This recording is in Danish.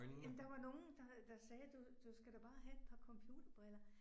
Jamen der var nogen der der sagde du du skal da bare have et par computerbriller